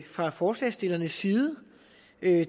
fra forslagsstillernes side